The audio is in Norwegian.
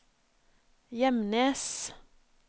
Gjemnes